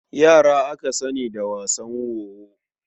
Yara aka sani da wasan wowo.